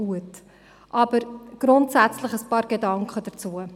Nun aber ein paar grundsätzliche Gedanken dazu.